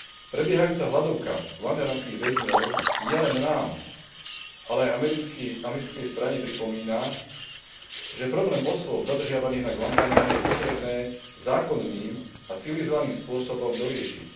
Prebiehajúca hladovka guantanamských väzňov nielen nám, ale aj americkej strane pripomína, že problém osôb zadržiavaných na Guatanáme je potrebné zákonným a civilizovaným spôsobom doriešiť.